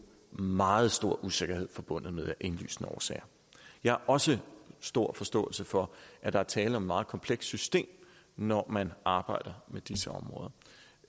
meget stor usikkerhed forbundet med af indlysende årsager jeg har også stor forståelse for at der er tale om et meget komplekst system når man arbejder med disse områder